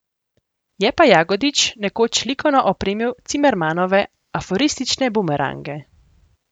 Je pa Jagodič nekoč likovno opremil Cimermanove aforistične Bumerange.